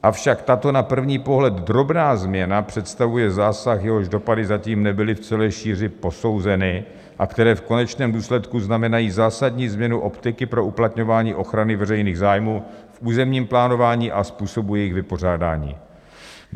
Avšak tato na první pohled drobná změna představuje zásah, jehož dopady zatím nebyly v celé šíři posouzeny a které v konečném důsledku znamenají zásadní změnu optiky pro uplatňování ochrany veřejných zájmů v územním plánování a způsobu jejich vypořádání.